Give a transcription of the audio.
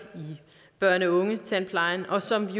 i børne og ungetandplejen og som vi